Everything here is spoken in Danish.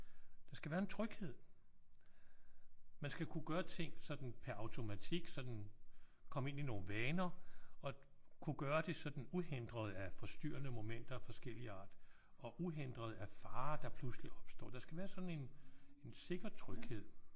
Der skal være en tryghed. Man skal kunne gøre ting sådan pr automatik sådan komme ind i nogle vaner og kunne gøre det sådan uhindret af forstyrrende momenter af forskellig art. Og uhindret af farer der pludseligt opstår. Der skal være sådan en en sikker tryghed